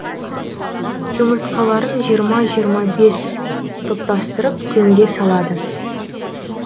жұмыртқаларын жиырма жиырма бес топтастырып көңге салады